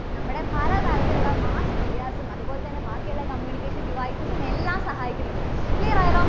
നമ്മുടെ പല തരത്തിലുള്ള mass medias ഉം അതുപോലെ തന്നെ ബാക്കിയുള്ള communication devices ഉം എല്ലാം സഹായിക്കുന്നത്. clear ആയല്ലോ.